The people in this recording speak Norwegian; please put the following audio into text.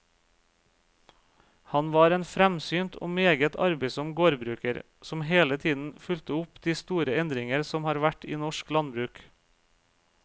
Han var en fremsynt og meget arbeidsom gårdbruker, som hele tiden fulgte opp de store endringer som har vært i norsk landbruk.